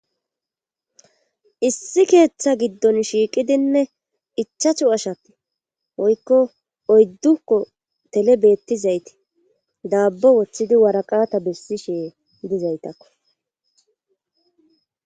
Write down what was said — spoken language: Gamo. issi keeththa giddon shiiqidinne ichachu ashatti oykko oyddukko tele beettizaytii daabbo woththidi waraqata bessishe dizaytakko